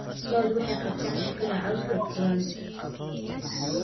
Lo'du waxay qabtaan shaqada cawska guran.